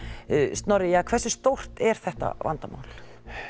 Snorri hversu stórt er þetta vandamál